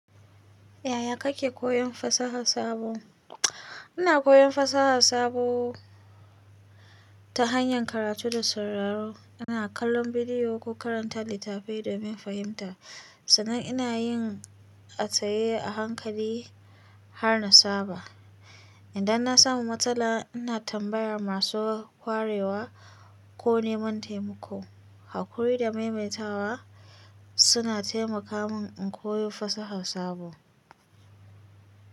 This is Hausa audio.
Yaya kake koyon fasaha sabo? Ina koyon fasaha sabo ta hanyar karatu da sauraro. Ina kallon bidiyo ko karanta littattafai domin fahimta, sannan ina yin ataye a hankali har na saba. Idan na samu matsala, ina tambayar masu kwarewa ko neman taimako. Hakuri da maimaitawa suna taimaka min in koyo fasaha sabo.